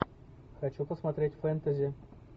хочу посмотреть фэнтези